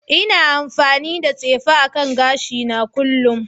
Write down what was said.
Ina amfani da tsefe akan gashina kullun